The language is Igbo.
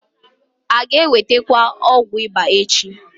A ga-enweta ọgwụ ịba echi?